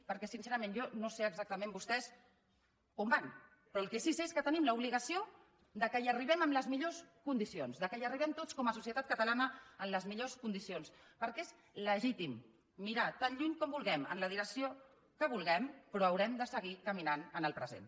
perquè sincerament jo no sé exactament vostès on van però el que sí que sé és que tenim l’obligació que hi arribem en les millors condicions que hi arribem tots com a societat catalana en les millors condicions perquè és legítim mirar tan lluny com vulguem en la direcció que vulguem però haurem de seguir caminant en el present